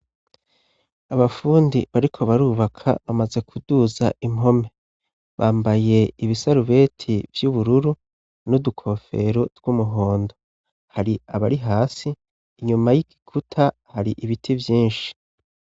Abafundi bariko barubaka bamaze kuduza impome. Bambaye ibisarubeti vy'ubururu n'udukofero tw'umuhondo. Hari abari hasi, inyuma y'igikuta hari ibiti vyinshi.